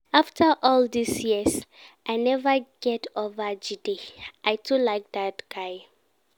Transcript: After all dis years I never get over Jide, I too like dat guy